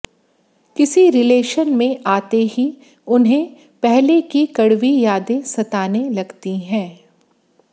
किसी रिलेशन में आते ही उन्हें पहले की कड़वी यादें सताने लगती हैं